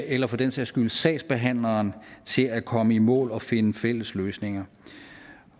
eller for den sags skyld sagsbehandleren til at komme i mål og finde fælles løsninger